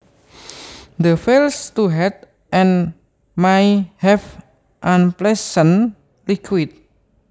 that fails to heal and may have unpleasant liquid